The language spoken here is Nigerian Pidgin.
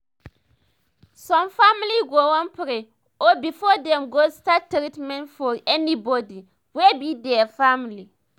some family go wan pray o before dem go start treatment for anybody wey be their family